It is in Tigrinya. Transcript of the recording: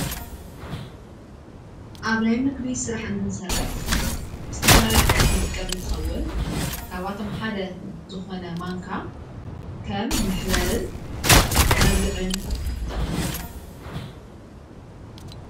ኣብ ናይ ምግቢ ስራሕ እንትንሰርሕ ብዝተፈላለይ ኣቝሑት ንጥቀምን ትኸውን ካብኣቶም ሓደ ዝኾነ ማንካ ከም መሕበርን መብልዕን ይጠቕመና።